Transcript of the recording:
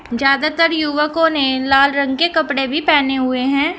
ज्यादातर युवकों ने लाल रंग के कपड़े भी पहने हुए हैं।